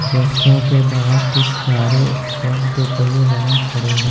Restaurant के बाहर कुछ कारें और दो पहिया वाहन खड़े हैं।